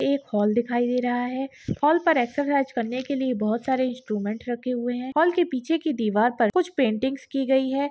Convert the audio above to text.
एक हॉल दिखाई दे रहा है हॉल पर एक्सरसाइज करने के लिए बहुत सारे इंस्ट्रूमेंट रखे हुए हैं हॉल के पीछे की दीवार पर कुछ पेंटिंग्स की गई है।